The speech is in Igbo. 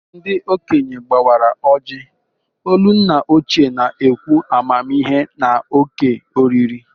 Ndi okenye gbawara ojii, olu nna ochie na-ekwu amamihe na òkè oriri.